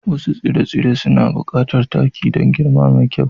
Wasu tsire-tsire suna buƙatar taki don girma mai kyau.